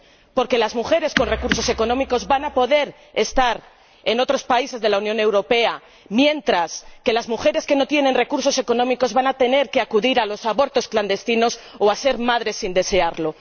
Porque las mujeres con recursos económicos van a poder ir a otros países de la Unión Europea, mientras que las mujeres que no tienen recursos económicos van a tener que acudir a los abortos clandestinos o ser madres sin desearlo.